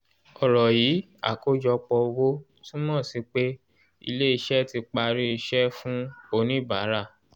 ọ̀rọ̀ yìí àkọ́jọpọ̀ owó túmọ̀ sí pé ilé iṣẹ́ tí parí iṣẹ́ fún oníbàárà